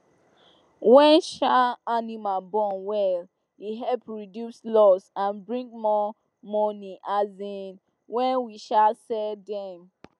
when um animal born well e help reduce loss and bring more money um when we um sell dem